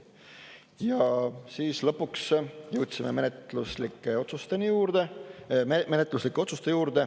Ja lõpuks jõudsime menetluslike otsuste juurde.